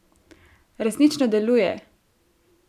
Resnično deluje!